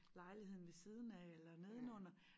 Lejligheden ved siden af eller nedenunder